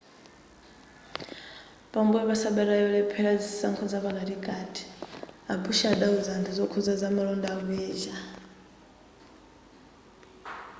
pambuyo pasabata yolephera zisankho zapakatikati a bush adawuza anthu zokuza za malonda ku asia